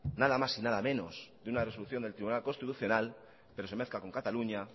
nada más y nada menos que de una resolución del tribunal constitucional pero se mezcla con cataluña